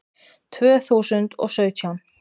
Tvö þúsund og sautján